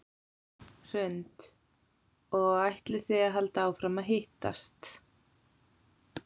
Hrund: Og ætlið þið að halda áfram að hittast?